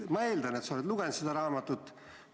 Ma eeldan, et sa oled seda raamatut lugenud.